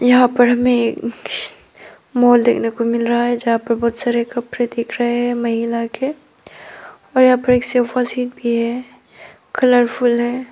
यहां पर हमें एक मॉल देखने को मिल रहा है जहां पे बहुत सारे कपड़े दिख रहे हैं महिला के और यहां पे एक सोफा सेट भी है कलरफुल है।